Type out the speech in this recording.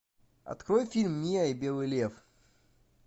открой фильм мия и белый лев